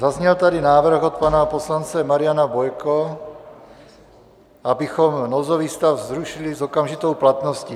Zazněl tady návrh od pana poslance Mariana Bojko, abychom nouzový stav zrušili s okamžitou platností.